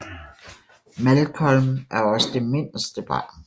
Malcolm er også det miderste barn